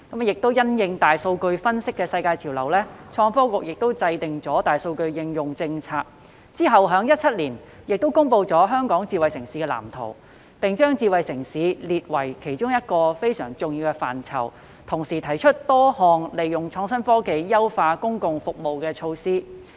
因應大數據分析的世界潮流，創新及科技局制訂大數據應用政策，政府其後在2017年公布《香港智慧城市藍圖》，並將"智慧政府"列為其中一個非常重要的範疇，同時提出多項利用創新科技優化公共服務的措施。